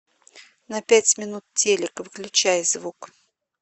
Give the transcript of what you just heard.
на пять минут телик выключай звук